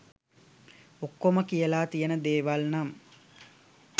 ඔක්කොම කියලා තියන දේවල් නම්